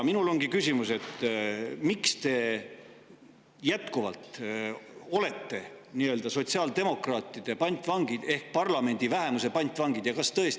Mul ongi küsimus: miks te jätkuvalt olete nii-öelda sotsiaaldemokraatide pantvangid ehk parlamendi vähemuse pantvangid?